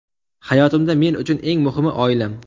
Hayotimda men uchun eng muhimi oilam.